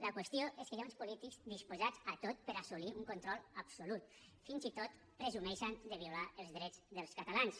la qüestió és que hi ha uns polítics disposats a tot per assolir un control absolut fins i tot presumeixen de violar els drets dels catalans